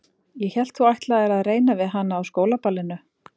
Ég hélt að þú ætlaðir að reyna við hana á skólaballinu